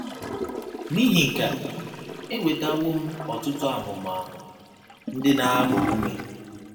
N’ihi nke a, enwetawo m ọtụtụ ahụmahụ ndị na - agba ume.